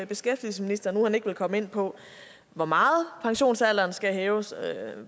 beskæftigelsesministeren ikke komme ind på hvor meget pensionsalderen skal hæves